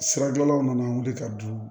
Siradilanw nana wuli ka du